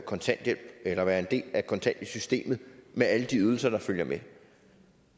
kontanthjælp eller være en del af kontanthjælpssystemet med alle de ydelser der følger med